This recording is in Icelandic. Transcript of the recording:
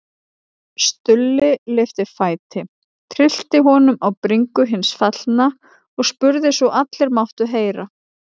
Stulli lyfti fæti, tyllti honum á bringu hins fallna og spurði svo allir máttu heyra